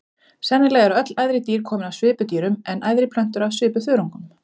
Sennilega eru öll æðri dýr komin af svipudýrum en æðri plöntur af svipuþörungum.